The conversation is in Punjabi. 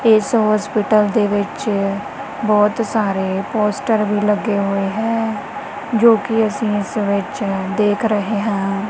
ਇੱਸ ਹੌਸਪੀਟਲ ਦੇ ਵਿੱਚ ਬਹੁਤ ਸਾਰੇ ਪੋਸਟਰ ਵੀ ਲੱਗੇ ਹੋਏ ਹੈਂ ਜੋਕਿ ਅੱਸੀਂ ਇੱਸ ਵਿੱਚ ਦੇਖ ਰਹੇ ਹਾਂ।